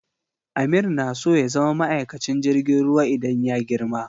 Amir na so ya zama maikacin jirgin ruwa idan ya girma.